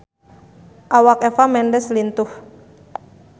Awak Eva Mendes lintuh